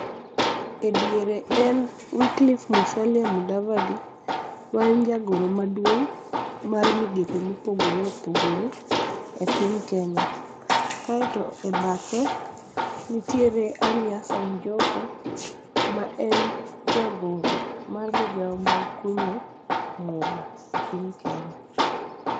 E diere en Wycliffe Musalia Mudavadi, maen jagoro maduong' mar migepe mopogore opogore e piny kenya, kaeto e badhe nitiere Ali Hassan Joho, maen jagoro mar migao mag kunyo mula e piny Kenya.